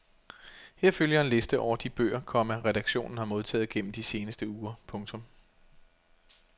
Her følger en liste over de bøger, komma redaktionen har modtaget gennem de seneste uger. punktum